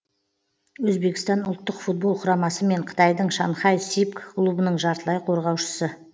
өзбекстан ұлттық футбол құрамасы мен қытайдың шанхай сипг клубының жартылай қорғаушысы